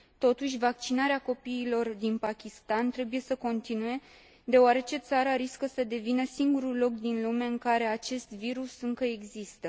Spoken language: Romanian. Totuși, vaccinarea copiilor din Pakistan trebuie să continue, deoarece țara riscă să devină singurul loc din lume în care acest virus încă există.